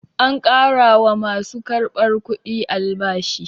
An ƙara wa ma su karɓar kudi albashi.